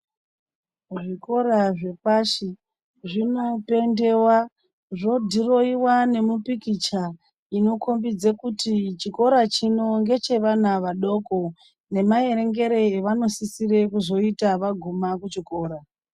Zvikora zvepashi zvino pentewa zvo dhirowiwa nemu pikicha ino kombidze kuti chikora chino ngeche vana vadoko nema erengere avano sisire kuzoita vagume kuchikora.